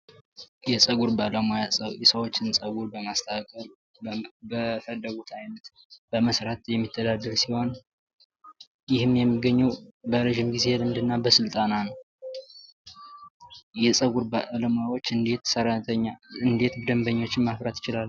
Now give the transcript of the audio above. የፀጉር ባለሙያ ሰዎችን ፀጉር በማስተካከል በፈለጉት አይነት በመስራት የሚተዳደር ሲሆን ይህም የሚገኘው በረጅም ጊዜ ልምድና በስልጠና ነው። የፀጉር ባለሙያዎች እንዴት ደበኞችን ማፍራት ይችላሉ?